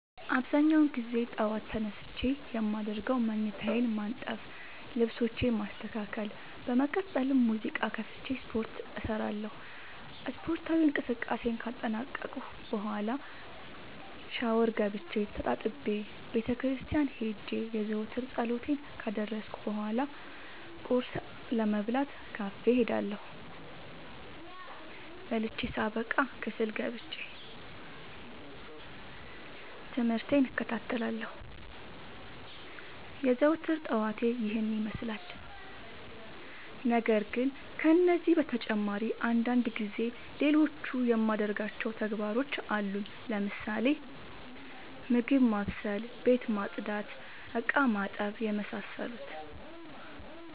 አብዛኛውን ግዜ ጠዎት ተነስቼ የማደርገው መኝታዬን ማነጠፍ ልብሶቼን ማስተካከል በመቀጠልም ሙዚቃ ከፍቼ ስፓርት እሰራለሁ ስፓርታዊ እንቅስቃሴን ካጠናቀቅኩ በኋ ሻውር ገብቼ ተጣጥቤ ቤተክርስቲያን ሄጄ የዘወትር ፀሎቴን ካደረስኩ በሏ ቁርስ ለመብላት ካፌ እሄዳለሁ። በልቼ ሳበቃ ክፍል ገብቼ። ትምህርቴን እከታተላለሁ። የዘወትር ጠዋቴ ይህን ይመስላል። ነገርግን ከነዚህ በተጨማሪ አንዳንድ ጊዜ ሌሎቹ የማደርጋቸው ተግባሮች አሉኝ ለምሳሌ፦ ምግብ ማብሰል፤ ቤት መፅዳት፤ እቃማጠብ የመሳሰሉት።